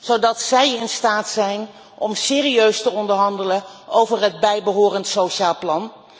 zodat zij in staat zijn om serieus te onderhandelen over het bijbehorend sociaal plan.